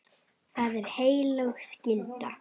Það er heilög skylda.